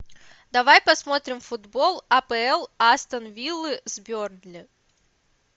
давай посмотрим футбол апл астон виллы с бернли